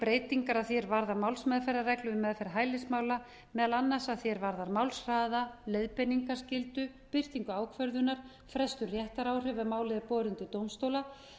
breytingar að því er varðar málsmeðferðarreglur um meðferð hælismála meðal annars að því er varðar málshraða leiðbeiningarskyldu birtingu ákvörðunar breytingu réttaráhrifa ef málið er borið undir dómstóla